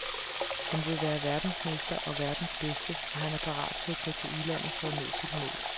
Han vil være verdensmester og verdens bedste, og han er parat til at tage til udlandet for at nå sit mål.